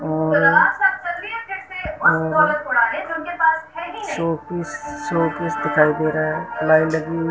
और और showpiece showpiece दिखाई दे रा लाइट लगी--